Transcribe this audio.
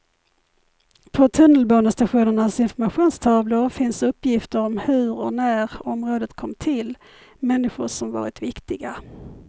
På tunnelbanestationernas informationstavlor finns uppgifter om hur och när området kom till, människor som varit viktiga.